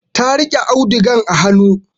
Ta riƙe audugan a hanu